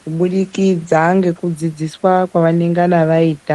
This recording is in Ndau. kubudikidza ndekudzidziswa kwavanengana vaita.